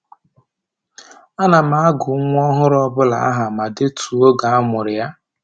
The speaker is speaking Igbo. A na m agụ nwa ọhụrụ ọbụla aha ma detuo oge a mụrụ ya